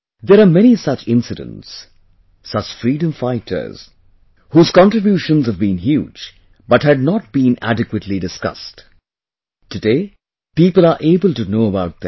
There are many such incidents, such freedom fighters whose contribution have been huge, but had not been adequately discussed...today, people are able to know about them